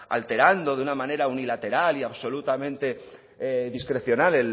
alterando de una manera unilateral y absolutamente discrecional